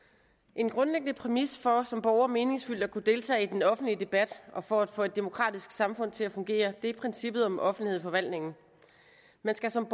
en grundlæggende præmis for som borger meningsfyldt at kunne deltage i den offentlige debat og for at få et demokratisk samfund til at fungere er princippet om offentlighed i forvaltningen man skal som